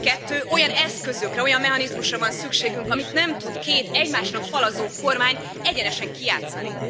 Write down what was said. Kettő olyan eszközökre, olyan mechanizmusra van szükségünk, amelyet nem tud két, egymásnak falazó kormány egyenesen kijátszani.